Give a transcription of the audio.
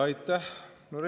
Aitäh!